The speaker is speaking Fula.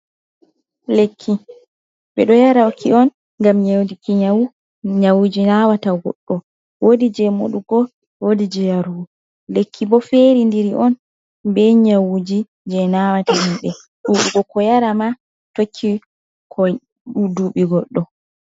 Lekki ɓe ɗo yaraki on ngam nyaudiki nyawuji jei nawata goɗɗo, wodi je moɗugo, wodi je yarugo, lekki bo feridiri on be nyawuji jei nawata himɓe, ɗuɗugo ko yara ma tokki dubi goɗɗo.